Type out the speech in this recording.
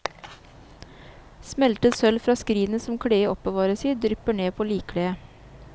Smeltet sølv fra skrinet som kledet oppbevares i, drypper ned på likkledet.